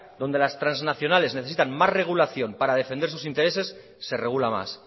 donde las transnacionales necesitan más regulación para sus intereses se regula más